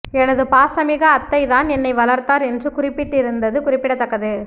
எனது பாசமிகு அத்தை தான் என்னை வளர்த்தார் என்று குறிப்பிட்டிருந்தது குறிப்பிடத்தக்கது